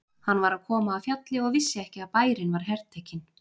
Hann var að koma af fjalli og vissi ekki að bærinn var hertekinn.